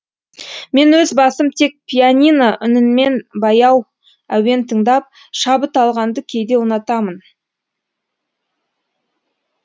мен өз басым тек пианино үнінмен баяу әуен тыңдап шабыт алғанды кейде ұнатамын